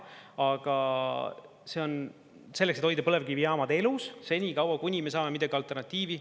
Aga see on selleks, et hoida põlevkivijaamad elus senikaua, kuni me saame midagi alternatiivi.